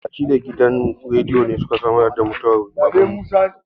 Masallatai da gidan rediyo ne su ka sanar da mutwar Baban mu.